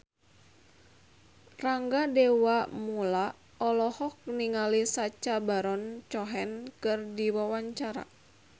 Rangga Dewamoela olohok ningali Sacha Baron Cohen keur diwawancara